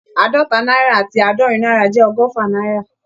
Àádọ́ta náírà àti àádọ́rin náírà jẹ́ ọgọ́fà náírà